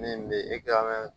Min bɛ